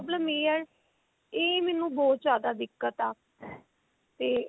problem ਇਹ ਆ ਇਹ ਮੈਨੂੰ ਬਹੁਤ ਜਿਆਦਾ ਦਿੱਕਤ ਆ ਤੇ